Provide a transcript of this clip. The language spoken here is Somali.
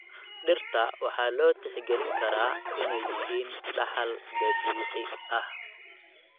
Dhirta waxaa loo tixgelin karaa inay yihiin dhaxal dabiici ah.